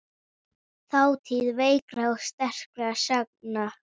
Þátíð veikra og sterkra sagna.